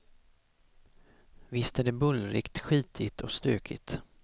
Visst är det bullrigt, skitigt och stökigt.